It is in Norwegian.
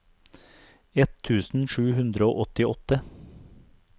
ett tusen sju hundre og åttiåtte